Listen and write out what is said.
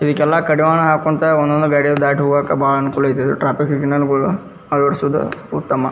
ಇದಕ್ಕೆಲ ಕಡಿವಾಣ ಹಾಕ್ಕೊಂತ ಒಂದ್ ಒಂದ್ ಗಾಡಿನ ದಾಟ್ ಹೋಗಾಕ ಅನುಕೂಲ ಐತಿ ಇದು ಟ್ರಾಫಿಕ್ ಸಿಗ್ನಲ್ ಅಳವಡಿಸುವುದು ಉತ್ತಮ.